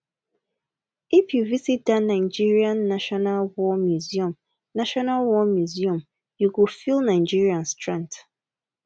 if you visit that nigerian national war museum national war museum you go feel nigeria strength